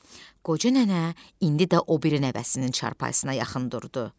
Qoca nənə indi də o biri nəvəsinin çarpayısına yaxın durdu.